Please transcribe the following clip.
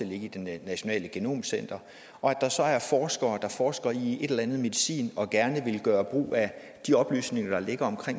ligge i det nationale genomcenter og der så er forskere der forsker i en eller anden medicin og gerne vil gøre brug af de oplysninger der ligger om